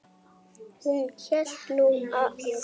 Hún hélt nú það.